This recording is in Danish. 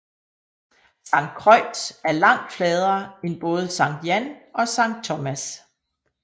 Saint Croix er langt fladere end både Sankt Jan og Sankt Thomas